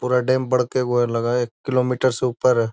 पूरा डैम बड़के गो हेय लगे हेय एक किलोमीटर से ऊपर है।